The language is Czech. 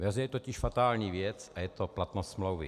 Ve hře je totiž fatální věc a je to platnost smlouvy.